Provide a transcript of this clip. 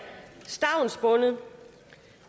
stavnsbundet